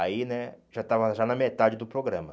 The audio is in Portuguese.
Aí, né, já estava já na metade do programa.